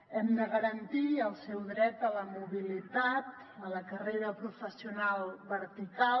hem de garantir el seu dret a la mobilitat a la carrera professional vertical